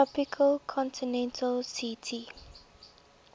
tropical continental ct